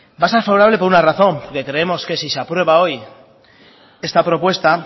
va a ser favorable por una razón que creemos que si se aprueba hoy esta propuesta